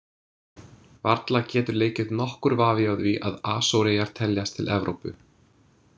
Varla getur leikið nokkur vafi á því að Asóreyjar teljast til Evrópu.